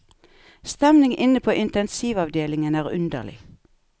Stemningen inne på intensivavdelingen er underlig.